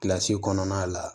Kilasi kɔnɔna la